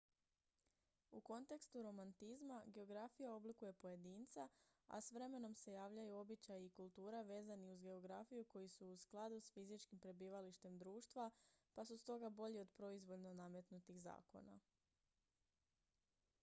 u kontekstu romantizma geografija oblikuje pojedinca a s vremenom se javljaju običaji i kultura vezani uz geografiju koji su u skladu s fizičkim prebivalištem društva pa su stoga bolji od proizvoljno nametnutih zakona